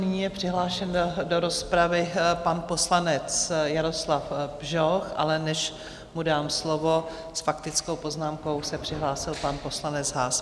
Nyní je přihlášen do rozpravy pan poslanec Jaroslav Bžoch, ale než mu dám slovo, s faktickou poznámkou se přihlásil pan poslanec Haas.